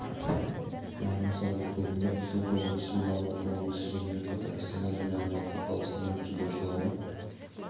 барын салды тобында қызылорда облысы мен алматы облысы сонымен қатар астана және алматы қаласының дзюдошылары